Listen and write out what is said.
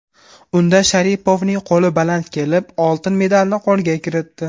Unda Sharipovning qo‘li baland kelib, oltin medalni qo‘lga kiritdi.